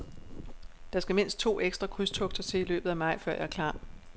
Der skal mindst to ekstra krydstogter til i løbet af maj, før jeg er klar.